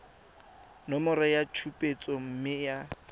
nomoro ya tshupetso mme ya